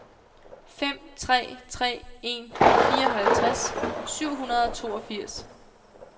fem tre tre en fireoghalvtreds syv hundrede og toogfirs